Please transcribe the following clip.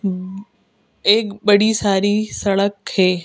एक बड़ी सारी सड़क है।